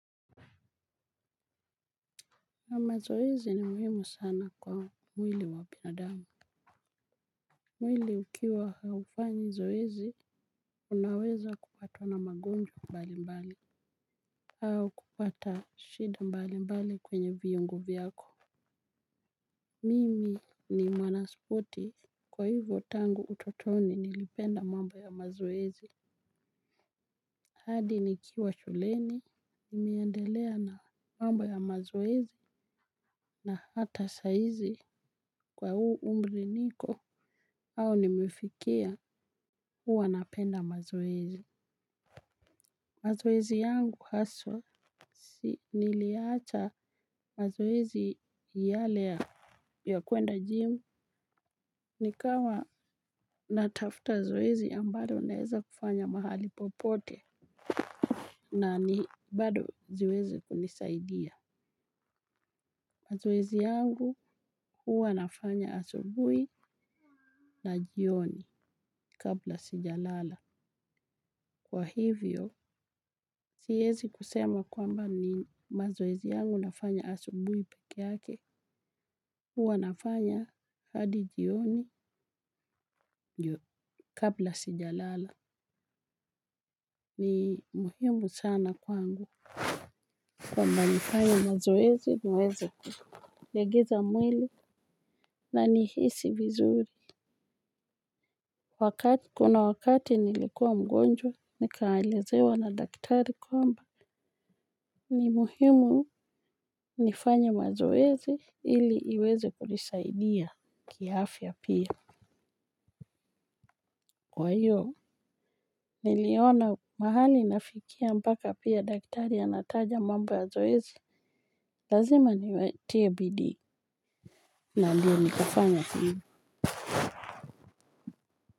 Na mazoezi ni muhimu sana kwa mwili wa binadamu. Mwili ukiwa haufanyi zoezi, unaweza kupatwa na magonjwa mbali mbali. Au kupata shida mbali mbali kwenye viungu vyako. Mimi ni mwana spoti kwa hivyo tangu utotoni nilipenda mambo ya mazoezi. Hadi nikiwa shuleni, niliendelea na mambo ya mazoezi na hata saizi kwa huu umri niko au nimefikia huwa napenda mazoezi. Mazoezi yangu haswa, niliacha mazoezi yale ya kuenda jimu. Nikawa natafuta zoezi ambalo naeza kufanya mahali popote na ni bado zoezi hunisaidia. Mazoezi yangu huwa nafanya asubui na jioni kabla sijalala. Kwa hivyo, siwezi kusema kwamba ni mazoezi yangu nafanya asubui pekee yake. Huwa nafanya hadi jioni kabla sijalala. Ni muhimu sana kwangu. Kwamba nifanye mazoezi niweze kulegeza mwili na nihisi vizuri. Kuna wakati nilikuwa mgonjwa nikaelezewa na daktari kwamba ni muhimu nifanye mazoezi ili iweze kunisaidia kiafya pia. Kwa hiyo niliona mahali nafikia mpaka pia daktari anataja mambo ya zoezi. Lazima niwatie bidii. Na ndiyo nikafanya kile.